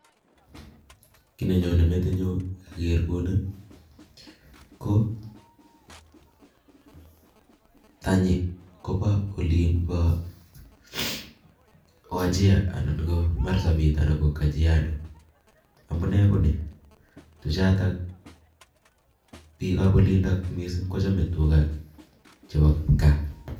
Kiy nenyone metinyu ko tany Kobo Olin bo wajir anan ko marsabit anan ko kajiado amune Koni tuchatak bik ab olindok kochame tuga chebo kipkaa